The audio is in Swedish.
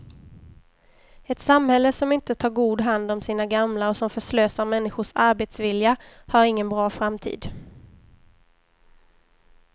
Ett samhälle som inte tar god hand om sina gamla och som förslösar människors arbetsvilja har ingen bra framtid.